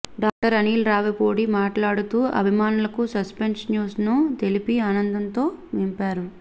director Anil Ravipudi మాట్లాడుతూ అభిమానులకు suspense news ను తెలిపి ఆనందంలో నింపారు